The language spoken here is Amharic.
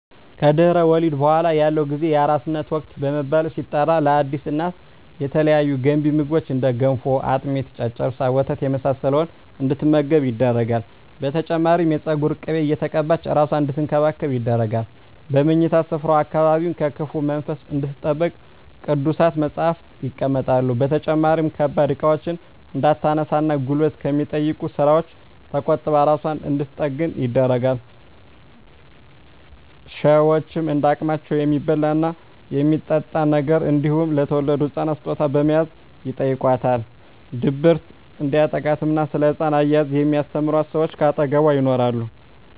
ከድህረ ወሊድ በኃላ ያለው ጊዜ የአራስነት ወቅት በመባል ሲጠራ ለአዲስ እናት የተለያዩ ገንቢ ምግቦች እንደ ገንፎ፣ አጥሚት፣ ጨጨብሳ፣ ወተት የመሳሰለውን እንድትመገብ ይደረጋል። በተጨማሪም የፀጉር ቅቤ እየተቀባች እራሷን አንድትንከባከብ ይደረጋል። በምኝታ ስፍራዋ አካባቢም ከክፉ መንፈስ እንድትጠበቅ ቅዱሳት መፀሃፍት ይቀመጣሉ። በተጨማሪም ከባድ እቃዎችን እንዳታነሳ እና ጉልበት ከሚጠይቁ ስራወች ተቆጥባ እራሷን እንድንትጠግን ይደረጋል። ሸወችም እንደ አቅማቸው የሚበላ እና የሚጠጣ ነገር እንዲሁም ለተወለደዉ ህፃን ስጦታ በመያዝ ይጨይቋታል። ድብርት እንዲያጠቃትም እና ስለ ህፃን አያያዝ የሚስተምሯት ሰወች ከአጠገቧ ይኖራሉ።